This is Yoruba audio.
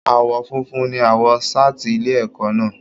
Aawọ fúnfún ní aawọ saati ilé ẹ̀kọ́ náà.